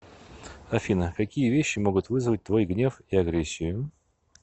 афина какие вещи могут вызвать твой гнев и агрессию